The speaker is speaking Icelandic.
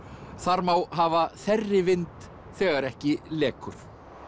þar má hafa þerrivind þegar ekki lekur